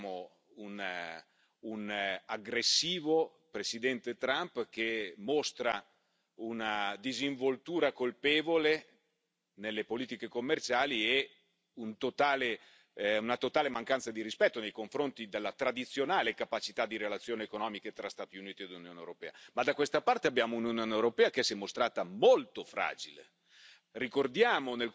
È vero che dall'altra parte abbiamo un aggressivo Presidente Trump, che mostra una disinvoltura colpevole nelle politiche commerciali e una totale mancanza di rispetto nei confronti della tradizionale capacità di relazioni economiche tra Stati Uniti ed Unione europea, ma da questa parte abbiamo un'Unione europea che si è mostrata molto fragile.